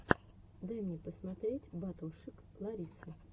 дай мне посмотреть батл шик ларисы